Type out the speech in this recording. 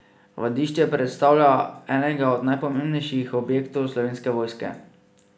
Vadišče predstavlja enega od najpomembnejših objektov Slovenske vojske.